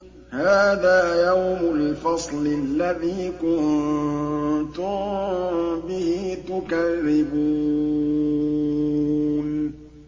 هَٰذَا يَوْمُ الْفَصْلِ الَّذِي كُنتُم بِهِ تُكَذِّبُونَ